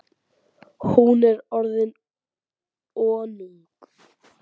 Hún er orðin önug.